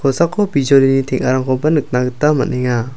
kosako bijolini teng·arangkoba nikna gita man·enga.